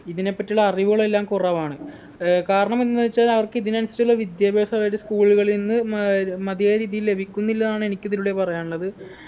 ഇതിനെപ്പറ്റിട്ടുള്ള അറിവുകളെല്ലാം കുറവാണ് ഏർ കാരണം എന്തന്ന് വെച്ചാൽ അവർക്കിതിനനുസരിച്ചുള്ള വിദ്യാഭ്യാസം അവരുടെ school കളിൽന്ന് അതായത് മതിയായ രീതിയിൽ ലഭിക്കുന്നില്ല എന്നാണ് എനിക്കിതിലൂടെ പറയാനുള്ളത്